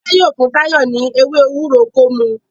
Tife yíò fún Tayo ní omí ewé ewúro kò mú.